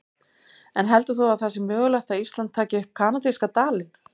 En heldur þú að það sé mögulegt að Ísland taki upp kanadíska dalinn?